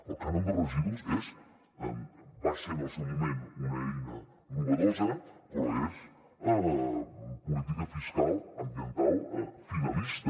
el cànon de residus va ser en el seu moment una eina innovadora però és política fiscal ambiental finalista